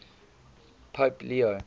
pope leo